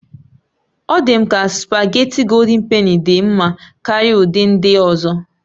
Ọ̀ dị m ka spugeetí Gòldin Penì dị mma karịa ụdị ndị ọzọ